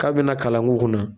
K'a bena kalan k'u kunna